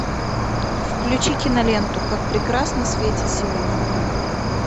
включи киноленту как прекрасно светит сегодня луна